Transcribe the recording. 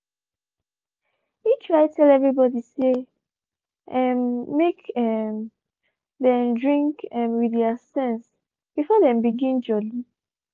he try tell everybody say um make um them drink um with thier sense before them begin jolly